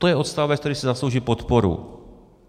- To je odstavec, který si zaslouží podporu.